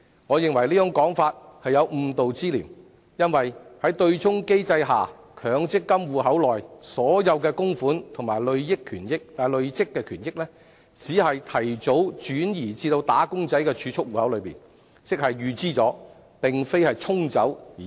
我認為這種說法有誤導之嫌，因為在對沖機制下，強積金戶口內所有供款及累算權益，只是提早轉移至"打工仔"的儲蓄戶口，即是"預支"而非"沖走"。